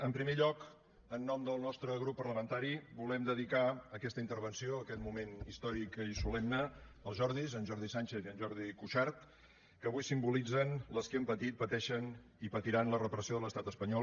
en primer lloc en nom del nostre grup parlamentari volem dedicar aquesta intervenció aquest moment històric i solemne als jordis en jordi sànchez i en jordi cuixart que avui simbolitzen les que hem patit pateixen i patiran la repressió de l’estat espanyol